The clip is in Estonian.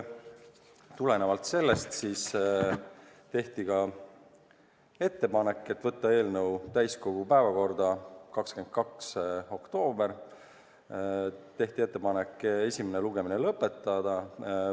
Tulenevalt sellest tehti ettepanek võtta eelnõu täiskogu päevakorda 22. oktoobril ja esimene lugemine lõpetada.